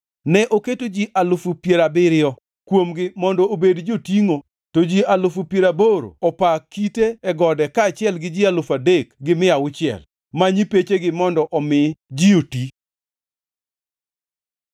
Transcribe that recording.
Ne oketo ji alufu piero abiriyo (70,000) kuomgi mondo obed jotingʼo to ji alufu piero aboro (80,000) opa kite e gode kaachiel gi ji alufu adek gi mia auchiel (3,600) ma nyipechegi mondo omi ji oti.